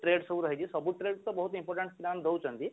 trade ସବୁ ରହିଛି ସବୁ trade ତ important ଦଉଛନ୍ତି